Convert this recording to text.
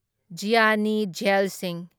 Gianni ꯓꯦꯜ ꯁꯤꯡꯍ